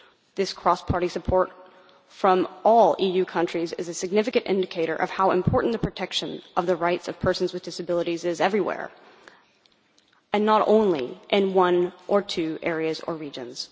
This cross party support from all EU countries is a significant indicator of how important the protection of the rights of persons with disabilities is everywhere, and not only in one or two areas or regions.